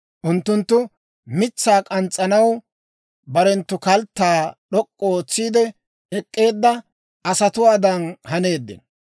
Unttunttu mitsaa k'ans's'anaw barenttu kalttaa, d'ok'k'u ootsiide, ek'k'eedda asatuwaadan haneeddino.